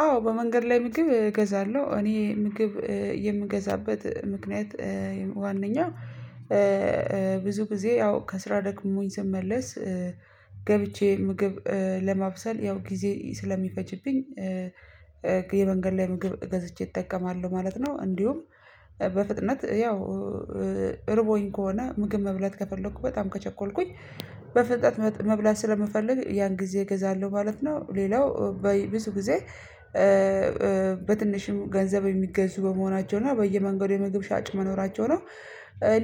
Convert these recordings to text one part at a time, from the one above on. አዎ በመንገድ ላይ ምግብ እገዛለሁ እኔ ምግብ የምገዛበት ምክንያት ዋናኛ ብዙ ጊዜ ያው ከስራ ደክሞኝ ስመለስ ገብቼ ምግብ ለማብሰል ያው ጊዜ ስለሚፈጅብኝ የመንገድ ላይ ምግብ ገዝቼ እጠቀማለሁ ማለት ነው። እንዲሁም በፍጥነት ያው እረቦኝ ከሆነ ምግብ መብላት ከፈለኩ በጣም ከቸኮልኩኝ በፍጥነት መብላት ስለምፈልግ ያን ጊዜ እገዛለሁ ማለት ነው። ሌላው በብዙ ጊዜ በትንሽም ገንዘብ የሚገዙ በመሆናቸው እና በየመንገዱ የምግብ ሻጭ መኖራቸው ነው።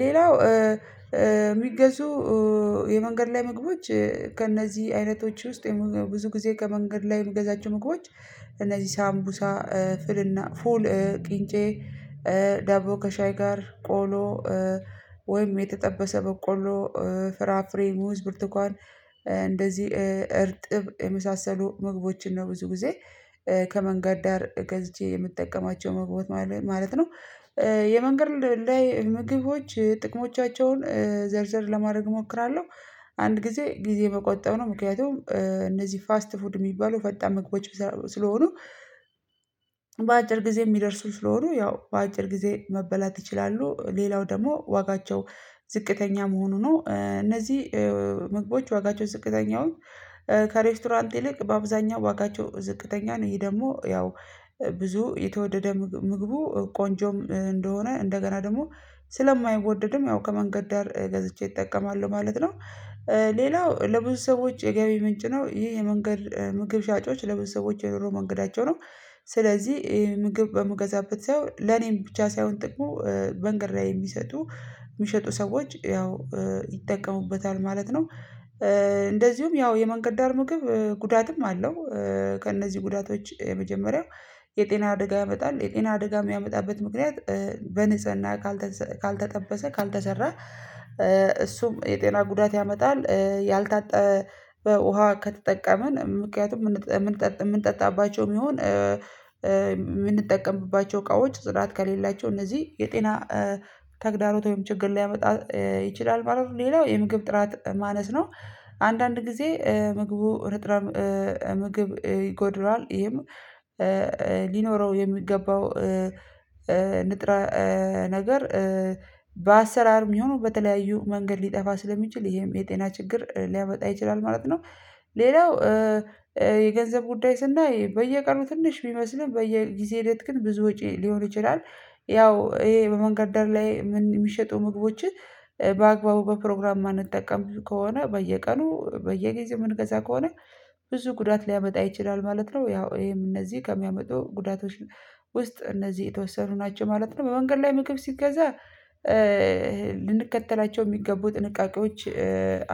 ሌላው የሚገዙ የመንገድ ላይ ምግቦች ከእነዚህ አይነቶች ውስጥ የምግብ ብዙ ጊዜ ከመንገድ ላይ የምገዛቸው ምግቦች እነዚህ ሳምቡሳ ፍልና ፉል ቅንጬ ዳቦ ከሻይ ጋር ቆሎ ወይም የተጠበሰ በቆሎ ፍራፍሬ ሙዝ ብርቱካን እንደዚህ እርጥብ የመሳሰሉ ምግቦችን ነው ብዙ ጊዜ ከመንገድ ዳር ገዝቼ የምጠቀማቸው መግቦች ማለት ነው። የመንገድ ላይ ምግቦች ጥቅሞቻቸውን ዘርዘር ለማድረግ እሞክራለሁ አንድ ጊዜ ጊዜ መቆጠብ ነው ምክንያቱም እነዚህ ፋስት ፉድ የሚባለው ፈጣን መግቦች ስለሆኑ በአጭር ጊዜ የሚደርሱ ስለሆኑ ያው በአጭር ጊዜ መበላት ይችላሉ። ሌላው ደግሞ ዋጋቸው ዝቅተኛ መሆኑ ነው እነዚህ መግቦች ዋጋቸው ዝቅተኛዎ ከሬስቶራንት ይልቅ በአብዛኛው ዋጋቸው ዝቅተኛ ነው። ይሄ ደግሞ ያው ብዙ የተወደደ ምግቡ ቆንጆም እንደሆነ እንደገና ደግሞ ስለማይወደድም ያው ከመንገድ ዳር ገዝቼ እጠቀማለሁ ማለት ነው። ሌላው ለብዙ ሰዎች የገቢ ምንጭ ነው ይሄ የመንገድ ምግብ ሻጮች ለብዙ ሰዎች የኑሮ መንገዳቸው ነው። ስለዚህ ምግብ በምገዛበት ሳይሆን ለኔም ብቻ ሳይሆን ጥቅሙ መንገድ ላይ የሚሰጡ የሚሸጡ ሰዎች ያው ይጠቀሙበታል ማለት ነው። እንደዚሁም ያው የመንገድ ዳር ምግብ ጉዳትም አለው ከእነዚህ ጉዳቶች የመጀመሪያው የጤና አደጋ ያመጣል የጤና አደጋ የሚያመጣበት ምክንያት በንጽህና ካልተጠበሰ ካልተሰራ እሱም የጤና ጉዳት ያመጣል ያልታጠበ ውሃ ከተጠቀመን ምክንያቱም የምንጠጣባቸው የሚሆን የምንጠቀምባቸው እቃዎች ጽዳት ከሌላቸው እነዚህ የጤና ተግዳሮት ወይም ችግር ሊያመጣ ይችላል ማለት ነው። ሌላው የምግብ ጥራት ማነስ ነው። አንዳንድ ጊዜ ምግቡ ንጥረ ምግብ ይጎድለዋል ይሄም ሊኖረው የሚገባው ንጥረ ነገር በአሰራር ይሁኑ በተለያዩ መንገድ ሊጠፋ ስለሚችል ይሄም የጤና ችግር ሊያመጣ ይችላል ማለት ነው። ሌላው የገንዘብ ጉዳይ ስናይ በየቀኑ ትንሽ ቢመስልም በየጊዜ ሂደት ግን ብዙ ወጪ ሊሆን ይችላል ያው ይሄ በመንገድ ዳር ላይ የሚሸጡ ምግቦችን በአግባቡ በፕሮግራም ማንጠቀም ከሆነ በየቀኑ በየጊዜው የምንገዛ ከሆነ ብዙ ጉዳት ሊያመጣ ይችላል ማለት ነው። ያው ይሄም እነዚህ ከሚያመጡ ጉዳቶች ውስጥ እነዚህ የተወሰኑ ናቸው ማለት ነው። በመንገድ ላይ ምግብ ሲገዛ ልንከተላቸው የሚገቡ ጥንቃቄዎች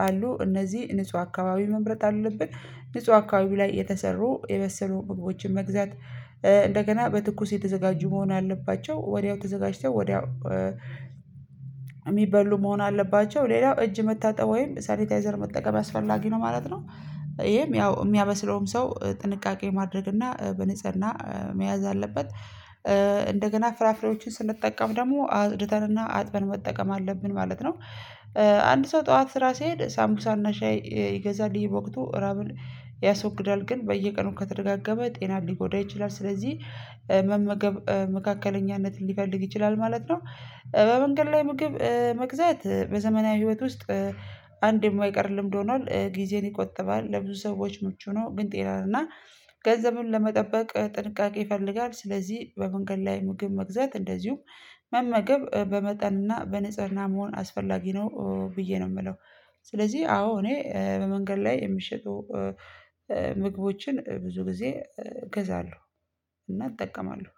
አሉ እነዚህ ንጹህ አካባቢ መምረጥ አለብን ንጹህ አካባቢ ላይ የተሰሩ የበሰሉ ምግቦችን መግዛት እንደገና በትኩስ የተዘጋጁ መሆን አለባቸው ወዲያው ተዘጋጅተው ወዲያው የሚበሉ መሆን አለባቸው። ሌላው እጅ መታጠብ ወይም ሳኒታይዘር መጠቀም አስፈላጊ ነው ማለት ነው። ይሄም ያው የሚያበስለውም ሰው ጥንቃቄ ማድረግ እና በንጽህና መያዝ አለበት። እንደገና ፍራፍሬዎችን ስንጠቀም ደግሞ አጽድተን እና አጥበን መጠቀም አለብን ማለት ነው። አንድ ሰው ጠዋት ስራ ስሄድ ሳምቡሳ እና ሻይ ይገዛል በወቅቱ ራብን ያስወግዳል ግን በየቀኑ ከተደጋጋመ ጤናን ሊጎዳ ይችላል ስለዚህ መመገብ መካከለኛነትን ሊፈልግ ይችላል ማለት ነው። በመንገድ ላይ ምግብ መግዛት በዘመናዊ ህይወት ውስጥ አንድ የማይቀር ልምድ ሆኗል ጊዜን ይቆጥባል ለብዙ ሰዎች ምቹ ነው። ግን ጤና እና ገንዘብን ለመጠበቅ ጥንቃቄ ይፈልጋል ስለዚህ በመንገድ ላይ ምግብ መግዛት እንደዚሁም መመገብ በመጠንና በንጽህና መሆን አስፈላጊ ነው። ብዬ ነው የምለው ስለዚህ አዎ እኔ በመንገድ ላይ የምሸጡ ምግቦችን ብዙ ጊዜ እገዛለሁ እና እጠቀማለሁ